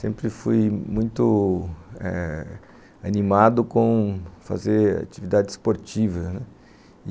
Sempre fui muito... animado com fazer atividade esportiva, né...